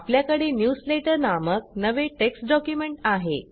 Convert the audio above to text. आपल्याकडे न्यूजलेटर नामक नवे टेक्स्ट डॉक्युमेंट आहे